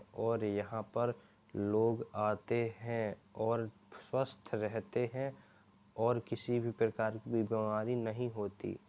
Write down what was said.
और यहाँ पर लोग आते हैं और स्वस्थ रहते हैं और किसी भी प्रकार बीमारी नहीं होती।